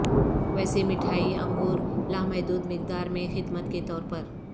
ویسے مٹھائی انگور لامحدود مقدار میں خدمت کے طور پر